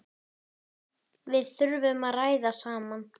Við þurfum að ræða saman.